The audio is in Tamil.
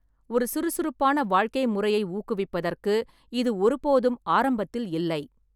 ஒரு சுறுசுறுப்பான வாழ்க்கை முறையை ஊக்குவிப்பதற்கு இது ஒருபோதும் ஆரம்பத்தில் இல்லை.